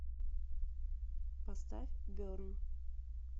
поставь берн